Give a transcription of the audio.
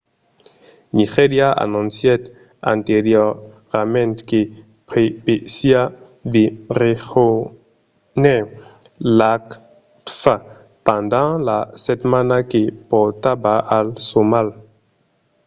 nigèria anoncièt anteriorament que prevesiá de rejónher l'afcfta pendent la setmana que portava al somalh